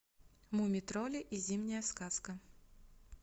мумий тролли и зимняя сказка